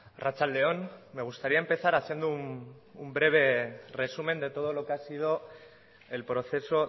arratsalde on me gustaría empezar haciendo un breve resumen de todo lo que ha sido el proceso